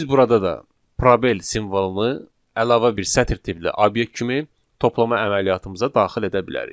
Biz burada da probel simvolunu əlavə bir sətr tipli obyekt kimi toplama əməliyyatımıza daxil edə bilərik.